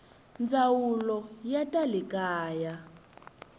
ndzawulo ya ta le kaya